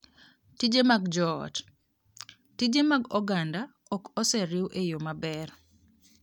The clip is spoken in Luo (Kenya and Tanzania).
Tije mag Joot: Tije mag oganda ok oseriw e yo maber.